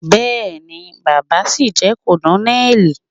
Bẹẹ̀ni, baba sìí jẹ́ kònónélì.